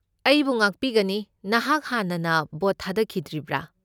ꯑꯩꯕꯨ ꯉꯥꯛꯄꯤꯒꯅꯤ, ꯅꯍꯥꯛ ꯍꯥꯟꯅꯅ ꯚꯣꯠ ꯊꯥꯗꯈꯤꯗ꯭ꯔꯤꯕ꯭ꯔꯥ?